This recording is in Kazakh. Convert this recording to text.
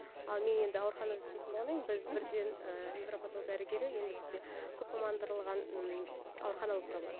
ал мен енді ауруханада істейтін болғаннан кейін біз мхм бірден невропатолог дәрігері енді бізде көп мамандырылған ы аурухана болып табылады